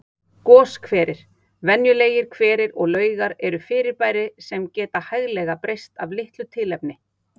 Goshverir, venjulegir hverir og laugar eru fyrirbæri sem geta hæglega breyst af litlu tilefni.